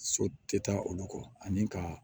So tɛ taa olu kɔ ani ka